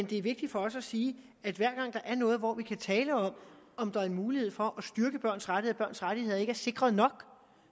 det er vigtigt for os at sige at hver gang der er noget hvor vi kan tale om om der er en mulighed for at styrke børns rettigheder rettigheder ikke er sikret nok